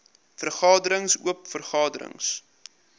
vergaderings oop vergaderings